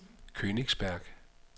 Königsberg